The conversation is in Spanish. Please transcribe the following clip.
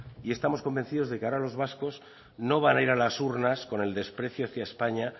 y estamos convencidos de que ahora los vascos no van a ir a las urnas con el desprecio hacia españa